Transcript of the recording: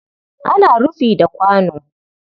Ana rufi da kwano